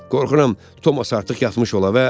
Qorxuram Tomas artıq yatmış ola.